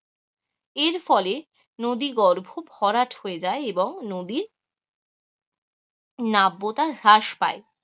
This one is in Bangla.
এর ফলে নদী গর্ভ ভরাট হয়ে যায় এবং নদীর নাব্যতা হ্রাস পায়,